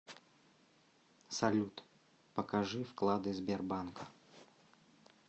салют покажи вклады сбербанка